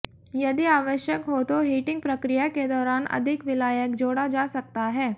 यदि आवश्यक हो तो हीटिंग प्रक्रिया के दौरान अधिक विलायक जोड़ा जा सकता है